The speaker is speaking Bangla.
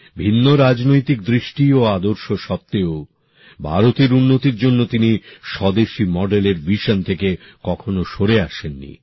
ভিন্ন রাজনৈতিক দৃষ্টি ও আদর্শ সত্ত্বেও ভারতের উন্নতির জন্য তিনি স্বদেশী মডেলের সংস্করণ থেকে কখনও সরে আসেন নি